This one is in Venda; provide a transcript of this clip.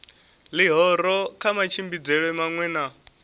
ḽihoro kha matshimbidzelwe maṅwe na